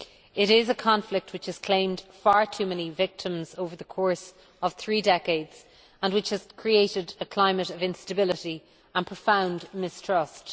It is a conflict which has claimed far too many victims over the course of three decades and which has created a climate of instability and profound mistrust.